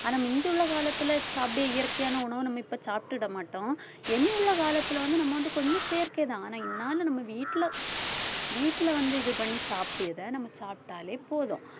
ஆனா மிந்தியுள்ள காலத்துல சாப்டே இயற்கையான உணவை நம்ம இப்ப சாப்பிட்டிட மாட்டோம் இனி உள்ள காலத்துல வந்து நம்ம வந்து கொஞ்சம் செயற்கைதான் ஆனா இந்நாளும் நம்ம வீட்டுல வீட்டுல வந்து இது பண்ணி சாப்பிட்ட இதை நம்ம சாப்பிட்டாலே போதும்